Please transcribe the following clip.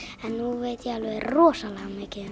en nú veit ég alveg rosalega mikið